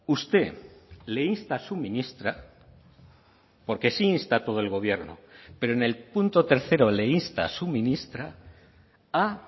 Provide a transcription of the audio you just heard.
usted le insta a su ministra porque se insta a todo el gobierno pero en el punto tercero le insta a su ministra a